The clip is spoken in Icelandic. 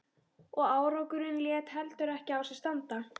Og árangurinn lét heldur ekki á sér standa.